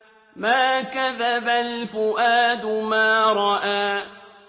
مَا كَذَبَ الْفُؤَادُ مَا رَأَىٰ